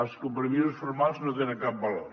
els compromisos formals no tenen cap valor